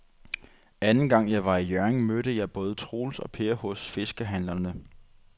Anden gang jeg var i Hjørring, mødte jeg både Troels og Per hos fiskehandlerne.